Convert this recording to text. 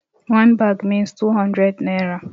One bags means two hundred naira.